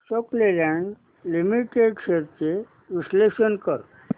Ashok Leyland limited shares चे विश्लेषण कर